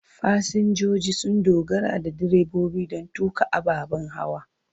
Fasinjoji sun dogara da direbobi don tuƙa ababen hawa.